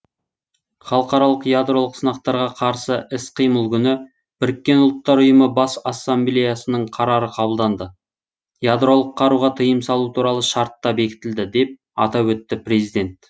халықаралық ядролық сынақтарға қарсы іс қимыл күні біріккен ұлттар ұйымы бас ассамблеясының қарары қабылданды ядролық қаруға тыйым салу туралы шарт та бекітілді деп атап өтті президент